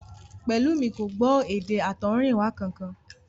Pẹ̀lúmi kò gbọ́ èdè àtọ̀húnrìnwá kankan